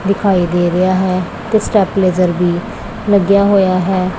ਦਿਖਾਈ ਦੇ ਰਿਹਾ ਹੈ ਤੇ ਸਟੈਪ ਲਾਈਜਰ ਜਲਦੀ ਲੱਗਿਆ ਹੋਇਆ ਹੈ।